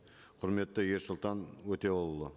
құрметті ерсұлтан өтеуұлы